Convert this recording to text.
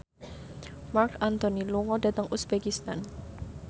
Marc Anthony lunga dhateng uzbekistan